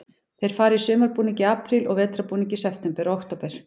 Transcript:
Þeir fara í sumarbúning í apríl og vetrarbúning í september og október.